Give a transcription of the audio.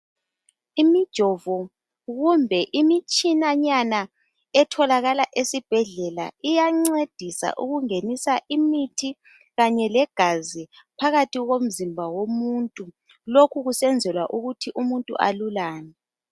Imijovo kumbe imitshinanyana etholakala esibhedlela iyancedisa ukungenisa imithi kanye legazi phakathi komzimba womuntu lokhu kusenzelwa ukuthi alulame.